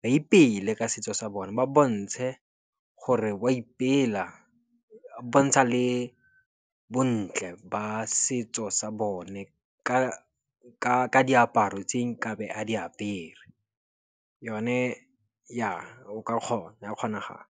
Ba ipeele ka setso sa bone, ba bontshe gore ba ipela, ba bontsha le bontle ba setso sa bone ka diaparo tse nkabe a di apere. Yone ja, o ka kgona, go a kgonagala.